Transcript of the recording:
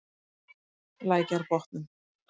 Lækjarbotnum